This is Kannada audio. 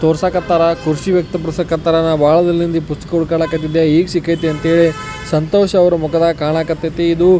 ತೋರ್ಸೋಕ್ ಹತ್ತರ ಖುಷಿ ವ್ಯಕ್ತ ಪಡಿಸಕ್ ಹತ್ತರ ನ ಬಹಳ ದಿನದಿಂದ ಪುಸ್ತಕ ಹುಡುಕಾಕ್ ಹತ್ತಿದ್ದೆ ಈಗ ಸಿಕ್ಕಾಯಿತೇ ಅಂಥೇಳಿ ಸಂತೋಷ ಅವ್ರ ಮುಖದಲ್ಲಿ ಕಣಕ್ ಹತೈತಿ ಇದು --